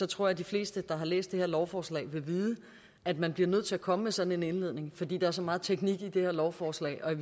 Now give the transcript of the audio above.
tror jeg de fleste der har læst det her lovforslag vil vide at man bliver nødt til at komme med sådan en indledning fordi der er så meget teknik i det her lovforslag og i